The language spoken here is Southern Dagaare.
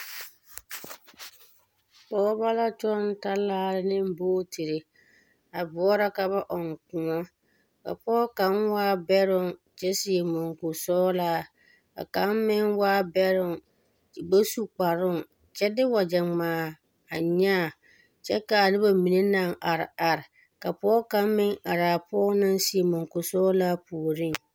pɔgeba la kyɔŋ talaare ne bootiri a boɔra ka ba ɔŋ kõɔ. A pɔge kaŋ waa bɛroŋ kyɛ seɛ muŋkuri sɔgelaa ka ka` meŋ waa bɛroŋ o ba su kparoŋ. kyɛ de wagyɛ ŋmaa a nyaa kyɛ ka a noba mine naŋ are are. Ka pɔge kaŋ meŋ are a pɔge naŋ seɛ muŋkuri sɛgelaa puori.